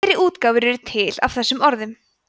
fleiri útgáfur eru til af þessum orðum